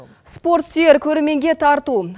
спорт сүйер көрерменге тарту